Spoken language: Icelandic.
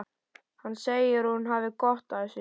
Hann segir að hún hafi gott af þessu.